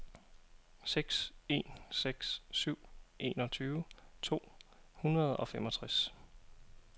seks en seks syv enogtyve to hundrede og femogtres